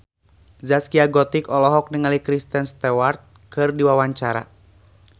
Zaskia Gotik olohok ningali Kristen Stewart keur diwawancara